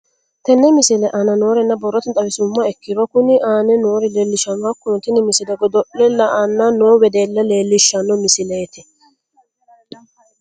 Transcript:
Tenne misile aana noore borrotenni xawisummoha ikirro kunni aane noore leelishano. Hakunno tinni misile godo'le la''anni noo weddella leelishshano misileeti.